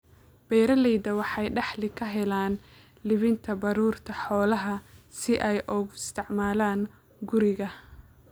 Beeralayda waxay dakhli ka helaan iibinta baruurta xoolaha si ay ugu isticmaalaan guriga.